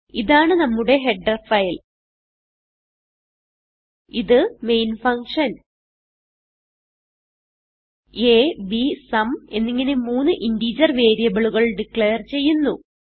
ഇതാണ് നമ്മുടെ header file ഇത് main function a b sum എന്നിങ്ങനെ മൂന്ന് ഇന്റഗർ വേരിയബിളുകൾ ഡിക്ലേർ ചെയ്യുന്നു